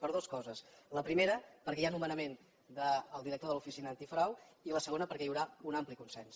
per dues coses la primera perquè hi ha nomenament del director de l’oficina antifrau i la segona perquè hi haurà un ampli consens